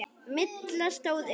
Milla stóð upp.